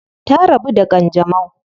Ta rabu da kanjamau.